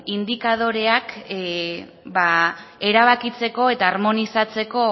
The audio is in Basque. indikadoreak erabakitzeko eta harmonizatzeko